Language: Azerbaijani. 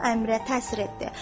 Bu Əmirə təsir etdi.